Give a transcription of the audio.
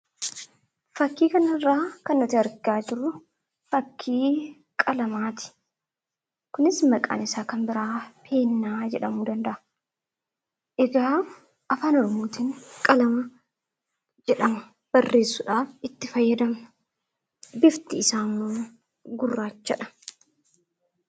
Suuraa kanaa gadii irratti kan argamu suuraa qalamaati. Innis barreessuuf kan itti fayyadamnuu dha. Bifti isaas gurraachaa dha.